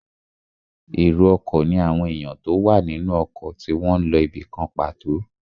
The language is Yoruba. Èrò ọkọ̀ ní àwọn èèyàn tó wà nínú ọkọ̀ tí wọ́n n lọ ibìkan pàtó